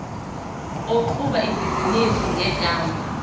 oqhuba ibhizinisi ngegama